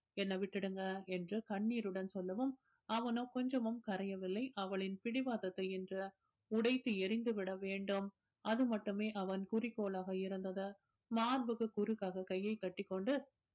என்னை விட்டுடுங்க என்று கண்ணீருடன் சொல்லவும் அவனோ கொஞ்சமும் கரையவில்லை அவளின் பிடிவாதத்தை இன்று உடைத்து எறிந்து விட வேண்டும் அது மட்டுமே அவன் குறிக்கோளாக இருந்தது மார்புக்கு குறுக்காக கையை கட்டிக்கொண்டு